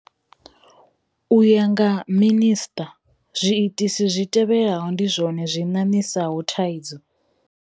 U ya nga Minisṱa, zwiitisi zwi tevhelaho ndi zwone zwi ṋaṋisaho thaidzo,